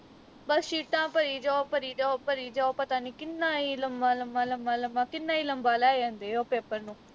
ਬਸ ਸ਼ੀਟਾਂ ਭਰੀ ਜਾਓ ਭਰੀ ਜਾਓ ਭਰੀ ਜਾਓ ਪਤਾ ਨੀ ਕਿੰਨਾ ਈ ਲੰਮਾ ਲੰਮਾ ਲੰਮਾ ਲੰਮਾ ਕਿੰਨਾ ਈ ਲੰਮਾ ਲੈ ਜਾਂਦੇ ਓਹ ਪੇਪਰ ਨੂੰ